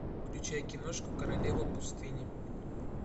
включай киношку королева пустыни